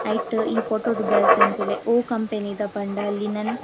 ಐಟ್ ಈ ಫೋಟೊ ಟ್ ಬರೆತೆರ್ ತೂಲೆ ಒವ್ ಕಂಪೆನಿ ದ ಪಂಡ ಲಿನೆನ್ --